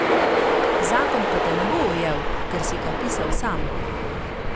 Zakon pa te ne bo ujel, ker si ga pisal sam.